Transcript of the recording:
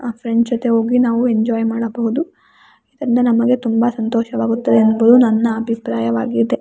ಅ friends ಜೊತೆ ಹೋಗಿ ನಾವು ಎಂಜೋಯ್ ಮಾಡಬಹುದು ಎಂದು ನಮಗೆ ತುಂಬಾ ಸಂತೋಷವಾಗುತ್ತದೆ ಎಂಬುದು ನನ್ನ ಅಭಿಪ್ರಾಯವಾಗಿದೆ.